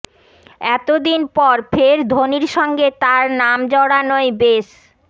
এতদিন পর ফের ধোনির সঙ্গে তাঁর নাম জড়ানোয় বেশ